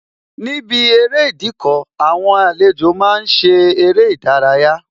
Níbi eré Ìdíkọ̀, àwọn àlejò máa ń ṣe eré ìdárayá